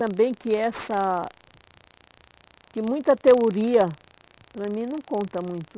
Também que essa... que muita teoria, para mim, não conta muito.